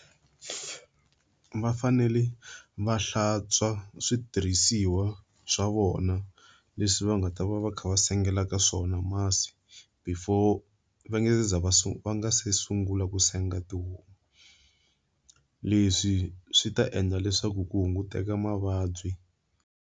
Va fanele va hlantswa switirhisiwa swa vona leswi va nga ta va va kha va sengela ka swona masi, before va nga se za va va sungula ku senga tihomu. Leswi swi ta endla leswaku ku hunguteka mavabyi.